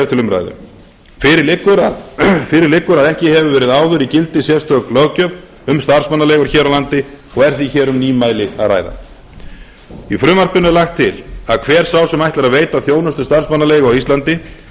til umræðu fyrir liggur að ekki hefur verið áður í gildi sérstök löggjöf um starfsmannaleigur hér á landi og er því hér um nýmæli að ræða í frumvarpinu er lagt til að hver sá sem ætlar að veita þjónustu starfsmannaleigu á íslandi